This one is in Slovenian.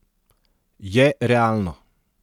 Je realno.